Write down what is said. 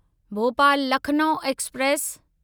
Bhopal Lucknow express